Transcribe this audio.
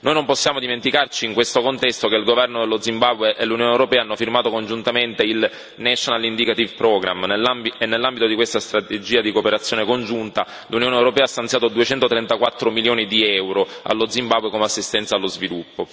Noi non possiamo dimenticarci, in questo contesto, che il governo dello Zimbabwe e l'Unione europea hanno firmato congiuntamente il National Indicative Programme e, nell'ambito di questa strategia di cooperazione congiunta, l'Unione europea ha stanziato 234 milioni di euro allo Zimbabwe come assistenza allo sviluppo.